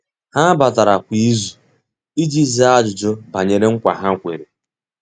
Há batara kwa ìzù iji zàá ájụ́jụ́ banyere nkwa ha kwèrè.